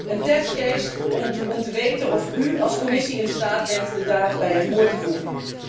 Een testcase om te weten of u als Commissie in staat bent de daad bij het woord te voegen.